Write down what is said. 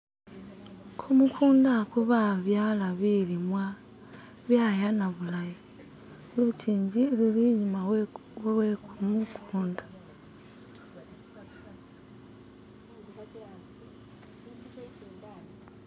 Kumukunda oku babyala bilimwa byayana bulayi, lukingi luli inyuma we kumukunda.